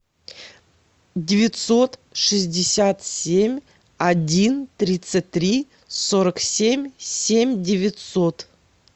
девятьсот шестьдесят семь один тридцать три сорок семь семь девятьсот